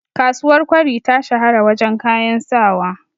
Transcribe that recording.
kasuwar kwari ta shahara wajen kayan sawa